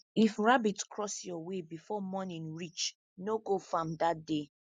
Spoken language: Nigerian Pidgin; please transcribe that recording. if rabbit cross your way before morning reach no go farm dat day